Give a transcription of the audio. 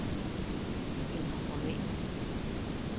Ændr format.